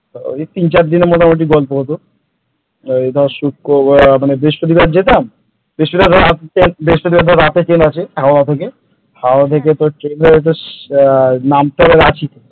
ওই তিন চার দিনের মোটামুটি গল্প হতো ওই ধর শুক্রবার মানে বৃহস্পতিবার যেতাম বৃহস্পতিবার তো আর বৃহস্পতিবার রাতে ট্রেন আছে হাওড়া থেকে হাওড়া থেকে তো ট্রেনে হয়তো নামতে হবে রাচি,